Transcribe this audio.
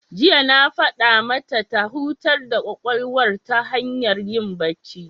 Jiya na faɗa mata ta hutar da ƙwaƙwalwar ta hanyar yin bacci.